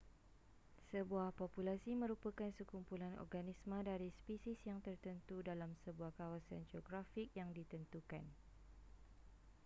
sebuah populasi merupakan sekumpulan organisma dari spesies yang tertentu dalam sebuah kawasan geografik yang ditentukan